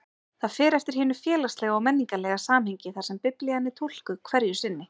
Það fer eftir hinu félagslega og menningarlega samhengi þar sem Biblían er túlkuð hverju sinni.